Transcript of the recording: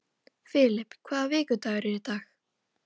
Filip, hvaða vikudagur er í dag?